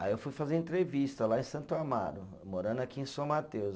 Aí eu fui fazer entrevista lá em Santo Amaro, morando aqui em São Mateus.